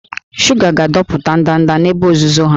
Shuga ga-adọpụta ndanda n'ebe nzuzo ha